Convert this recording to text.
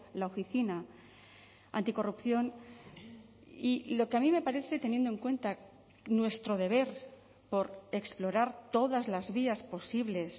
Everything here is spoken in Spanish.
la oficina anticorrupción y lo que a mí me parece teniendo en cuenta nuestro deber por explorar todas las vías posibles